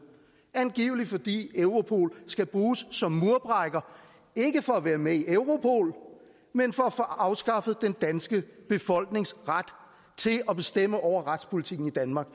angiveligt fordi europol skal bruges som murbrækker ikke for at være med i europol men for at få afskaffet den danske befolknings ret til at bestemme over retspolitikken i danmark